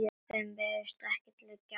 Þeim virðist ekkert liggja á.